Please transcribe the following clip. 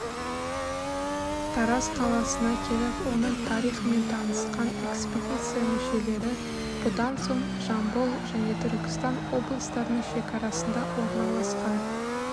тараз қаласына келіп оның тарихымен танысқан экспедиция мүшелері бұдан соң жамбыл және түркістан облыстарының шекарасында орналасқан